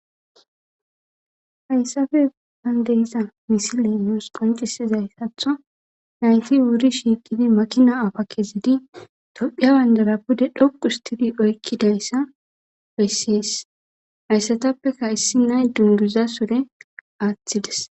Hayssape bollan de'zza missile nusi qoncisizaytho naytti wuri shiqidi makina appa kezidi thophiya bandira pude dhoqqu histtidi oyqidaysa besess. Hayssathapekka issi nay dunguza surre attidess.